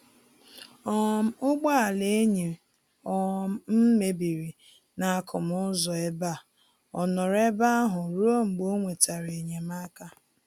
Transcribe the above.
um Ụgbọ ala enyi um m mebiri n'akụmụ ụzọ ebe a, ọ nọrọ ebe ahụ ruo mgbe o nwetara enyemaka